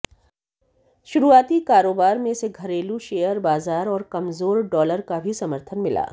शुरुआती कारोबार में इसे घरेलू शेयर बाजार और कमजोर डालर का भी समर्थन मिला